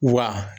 Wa